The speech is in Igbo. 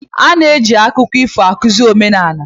A na-eji akụkọ ifo akụzi omenala.